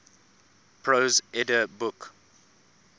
prose edda book